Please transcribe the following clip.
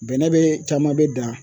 Bɛnɛ be , caman be dan